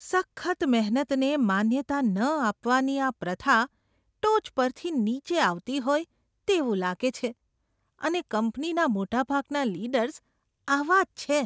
સખત મહેનતને માન્યતા ન આપવાની આ પ્રથા ટોચ પરથી નીચે આવતી હોય તેવું લાગે છે અને કંપનીના મોટાભાગના લીડર્સ આવા જ છે.